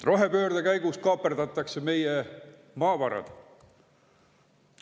Rohepöörde käigus kaaperdatakse meie maavarad.